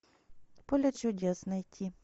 поле чудес найти